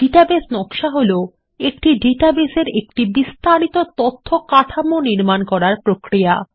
database নকশা হলো একটি ডাটাবেস এর একটি বিস্তারিত তথ্য কাঠামো নির্মান করার প্রক্রিয়া